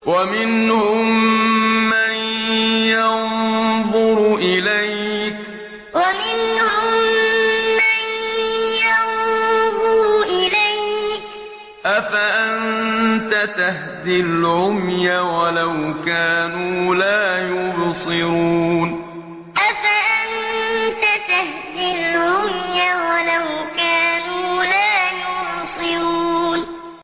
وَمِنْهُم مَّن يَنظُرُ إِلَيْكَ ۚ أَفَأَنتَ تَهْدِي الْعُمْيَ وَلَوْ كَانُوا لَا يُبْصِرُونَ وَمِنْهُم مَّن يَنظُرُ إِلَيْكَ ۚ أَفَأَنتَ تَهْدِي الْعُمْيَ وَلَوْ كَانُوا لَا يُبْصِرُونَ